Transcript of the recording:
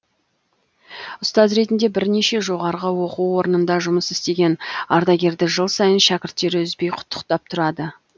ұстаз ретінде бірнеше жоғарғы оқу орынында жұмыс істеген ардагерді жыл сайын шәкірттері үзбей құттықтап тұрады